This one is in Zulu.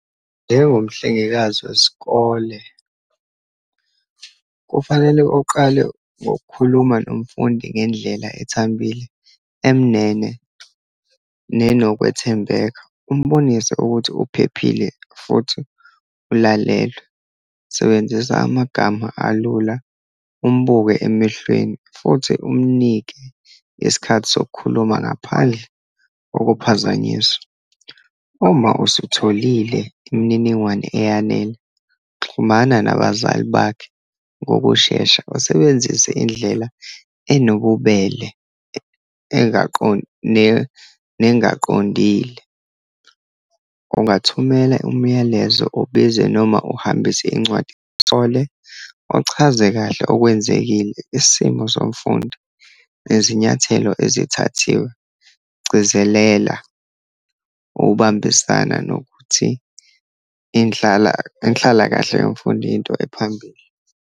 Njengomhlengikazi wesikole kufanele uqale ngokukhuluma nomfundi ngendlela ethambile, emnene nenokwethembeka, umbonise ukuthi uphephile, futhi ulalelwe. Sebenzisa amagama alula, umbuke emehlweni, futhi umnike isikhathi sokukhuluma ngaphandle kokuphazanyiswa. Uma usutholile imininingwane eyanele, xhumana nabazali bakhe ngokushesha, usebenzise indlela enobubele nengaqondile. Ungathumela umyalezo, obize, noma uhambise incwadi, uthole uchaze kahle okwenzekile, isimo somfundi, nezinyathelo ezithathiwe, gcizelela ukubambisana nokuthi inhlalakahle yomfundi into ephambili.